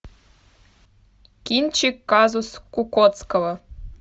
кинчик казус кукоцкого